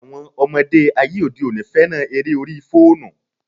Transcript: Àwọn ọmọdé ayé òde òní féràn eré orí fóònù.